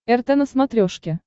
рт на смотрешке